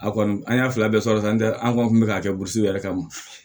A kɔni an y'a fila bɛɛ sɔrɔ sisan n tɛ an kɔni kun bɛ k'a kɛ burusi wɛrɛ kama